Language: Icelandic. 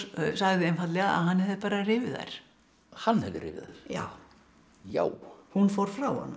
sagði einfaldlega að hann hefði bara rifið þær hann hefði rifið þær já já hún fór frá honum